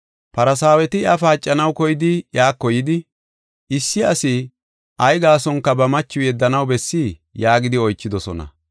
Farsaaweti iya paacanaw koyidi iyako yidi, “Issi asi ay gaasonka ba machiw yeddanaw bessii?” yaagidi oychidosona.